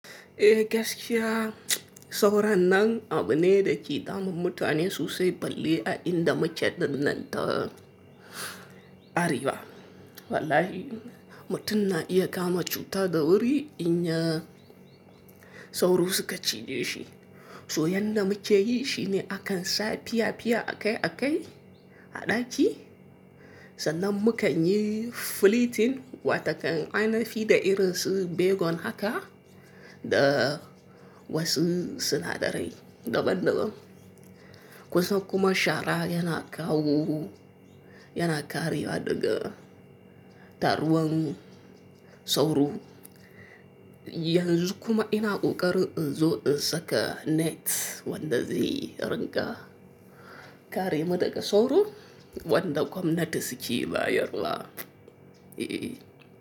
Eh gaskiya sauran nan abu ne da ke damun mutane sosai balle a inda mu ke dinnan ta Arewa. Wallahi mutun na iya kama cuta da wuri inya, sauro suka cije shi to yanda mu ke yi shine akan sa piya-piya akai-akai a ɗaki. Sannan mu kan yi filitin watakan ainafi da irin su begon haka da wasu sinadarai daban-daban. Kusan kuma shara yana kawo yana karewa daga taruwan sauro. Yanzu kuma ina ƙoƙari in zo in saka net wanda zai riƙa kare mu daga sauro wanda gwamnati su ke bayarwa. Eh.